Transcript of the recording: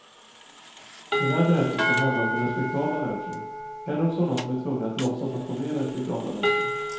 Den här berättelsen handlar om respektabla människor, eller om sådana som är tvungna att låtsas att de är respektabla människor.